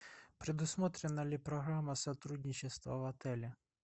предусмотрена ли программа сотрудничества в отеле